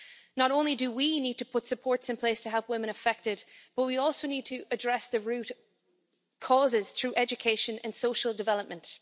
Not only do we need to put support in place to help women affected, but we also need to address the root causes through education and social development.